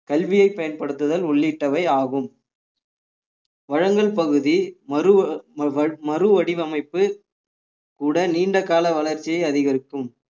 கல்வியை பயன்படுத்துதல் உள்ளிட்டவை ஆகும் பழங்கள் பகுதி மறு~ வ~ மறுவடிவமைப்பு கூட நீண்டகால வளர்ச்சியை அதிகரிக்கும்